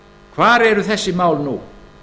hvar eru þessi mál nú